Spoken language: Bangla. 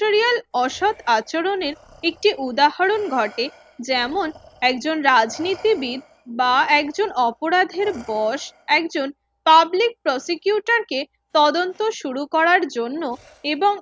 অসৎ আচরণের একটি উদাহরণ ঘটে যেমন একজন রাজনীতিবিদ বা একজন অপরাধের বস একজন publiquator কে তদন্ত শুরু করার জন্য এবং এক